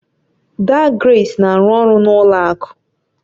Daa Grace na-arụ ọrụ na ụlọ akụ